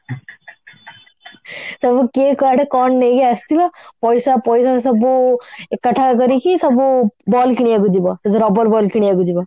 ସବୁ କିଏ କୁଆଡେ କଣ ନେଇକି ଆସିଥିବ ପଇସା ପଇସା ସବୁ ଏକାଠାହା କରିକି ସବୁ ball କିଣିବାକୁ ଯିବ ଏଇ ଯଉ rubber ball କିଣିବାକୁ ଯିବ